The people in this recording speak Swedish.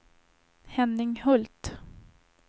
Henning Hult